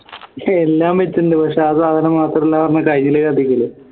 എല്ലാ ഉണ്ട് പക്ഷേ ആ സാധനം മാത്രം ഇല്ലന്ന് പറഞ്ഞാൽ കഴിഞ്ഞില്ലേ കഥ